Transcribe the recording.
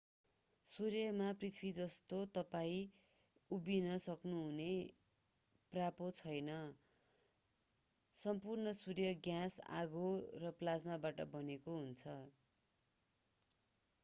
सूर्यमा पृथ्वी जस्तो तपाईं उभिन सक्नुहुने पाप्रो छैन सम्पूर्ण सूर्य ग्यास आगो र प्लाज्माबाट बनेको हुन्छ